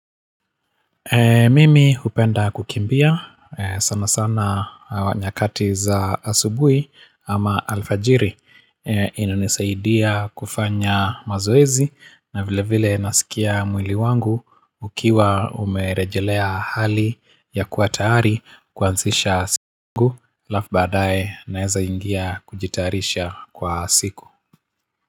Mimi hupenda kukimbia, sana sana nyakati za asubui ama alfajiri ina nisaidia kufanya mazoezi na vile vile nasikia mwili wangu ukiwa umerejelea hali ya kuwatayari kuansisha siku, alafu baadae naeza ingia kujitayarisha kwa siku.